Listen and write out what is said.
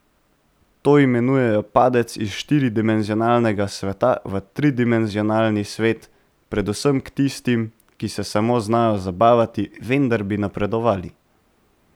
To imenujejo padec iz štiri dimenzionalnega sveta v tridimenzionalni svet, predvsem k tistim, ki se samo znajo zabavati, vendar bi napredovali.